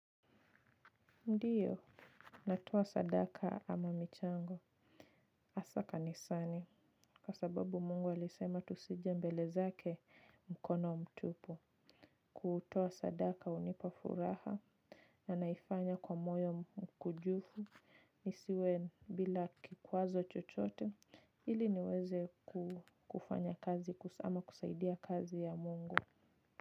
Ndiyo, natoa sadaka ama michango. Asa kanisani, kwa sababu mungu alisema tusijembele zake mkono mtupu. Kutoa sadaka unipafuraha. Na naifanya kwa moyo mkujufu, nisiwe bila kikwazo chochote, ili niweze kufanya kazi ama kusaidia kazi ya mungu.